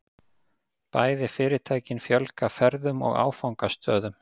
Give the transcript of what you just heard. Bæði fyrirtækin fjölga ferðum og áfangastöðum